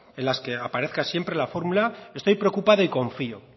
en las que aparezca siempre la formula estoy preocupada y confió